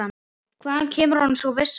Hvaðan kemur honum sú vissa?